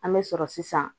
An bɛ sɔrɔ sisan